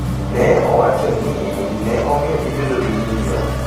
ne owachi ni ne omiyo gibedo gi ng’iyo.